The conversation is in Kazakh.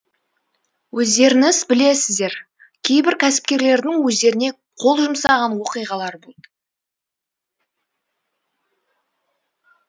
өздеріңіз білесіздер кейбір кәсіпкерлердің өздеріне қол жұмсаған оқиғалар болды